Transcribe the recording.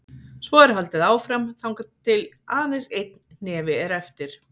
Svo er haldið áfram þangað til aðeins einn hnefi er eftir.